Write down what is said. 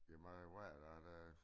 Det mange år hvad er det